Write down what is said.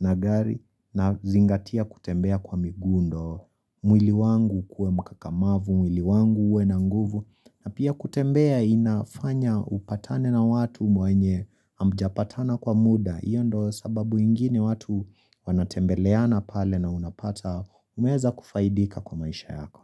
na gari nazingatia kutembea kwa miguu ndo. Mwili wangu ukue mkakamavu mwili wangu uwe na nguvu na pia kutembea inafanya upatane na watu mwenye hamjapatana kwa muda hiyo ndo sababu ingine watu wanatembeleana pale na unapata umeweza kufaidika kwa maisha yako.